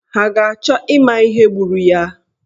Ha ga-achọ ịma ihe gburu ya?